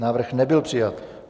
Návrh nebyl přijat.